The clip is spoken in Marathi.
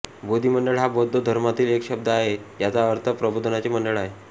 बोधिमंडळ हा बौद्ध धर्मातील एक शब्द आहे ज्याचा अर्थ प्रबोधनाचे मंडळ आहे